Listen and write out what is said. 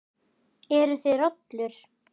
Eruð þið rollur?